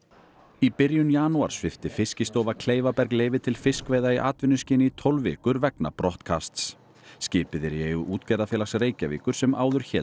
í byrjun janúar svipti Fiskistofa Kleifaberg leyfi til fiskveiða í atvinnuskyni í tólf vikur vegna brottkasts skipið er í eigu Útgerðarfélags Reykjavíkur sem áður hét